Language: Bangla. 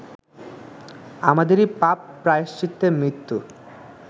আমাদেরই পাপ প্রায়শ্চিত্তে মৃত্যু